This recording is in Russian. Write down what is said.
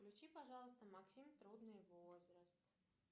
включи пожалуйста максим трудный возраст